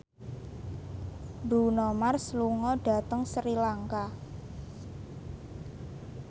Bruno Mars lunga dhateng Sri Lanka